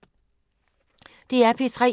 DR P3